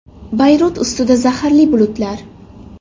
Bayrut ustida zaharli bulutlar.